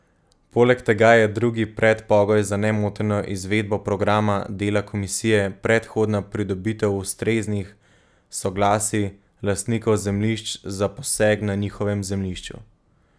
Poleg tega je drugi predpogoj za nemoteno izvedbo programa dela komisije predhodna pridobitev ustreznih soglasij lastnikov zemljišč za poseg na njihovem zemljišču.